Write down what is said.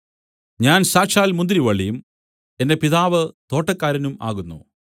ഞാൻ സാക്ഷാൽ മുന്തിരിവള്ളിയും എന്റെ പിതാവ് തോട്ടക്കാരനും ആകുന്നു